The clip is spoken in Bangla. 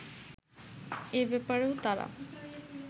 এ ব্যাপারেও তারা